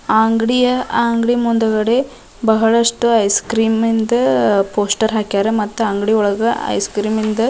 ಆಹ್ಹ್ ಅಂಗಡಿಯ ಆಹ್ಹ್ ಅಂಗಡಿಯ ಮುಂದುಗಡೆ ಬಹಳಷ್ಟು ಐಸ್ ಕ್ರಿಮಿಂದು ಪೋಸ್ಟರ್ ಹಾಕ್ಯಾರ ಮತ್ತ ಅಂಗಡಿ ಒಳಗ ಐಸ್ ಕ್ರಿ ಮಿಂದು--